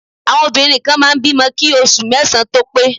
Àwọn obìnrin kan máa ń bímọ kí oṣù mẹ́sàn-án tó pé